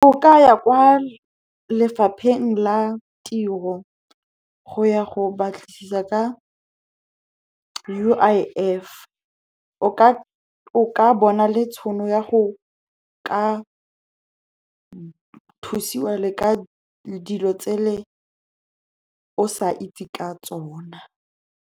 O ka ya kwa lefapheng la tiro go ya go batlisisa ka U_I_F. O ka bona le tšhono ya go ka thusiwa le ka dilo tse le o sa itse ka tsona.